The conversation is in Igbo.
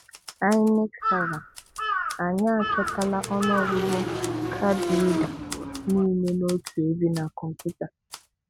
Inec Server: 'Anyị achịkọtala ọnụọgụgụ 'card reader' niile otu ebe na kọmputa'